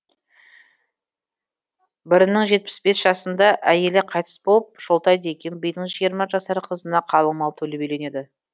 бірінің жетпіс бес жасында әйелі қайтыс болып шолтай деген бидің жиырма жасар қызына қалың мал төлеп үйленеді